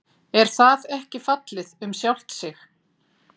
Er það ekki fallið um sjálft sig?